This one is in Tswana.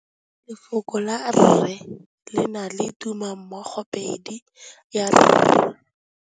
Lefoko la rre, le na le tumammogôpedi ya, r.